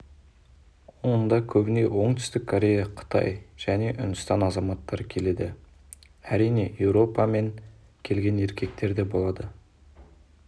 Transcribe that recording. онда көбіне оңтүстік корея қытай және үндістан азаматтары келеді әрине еуропа мен келген еркектер де болады